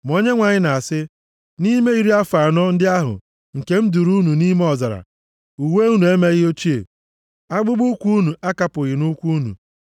Ma Onyenwe anyị na-asị, “Nʼime iri afọ anọ ndị ahụ nke m duuru unu nʼime ọzara, uwe unu emeghị ochie, akpụkpọụkwụ unu akapụghị nʼụkwụ unu.